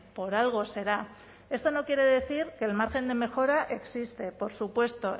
por algo será esto no quiere decir que el margen de mejora existe por supuesto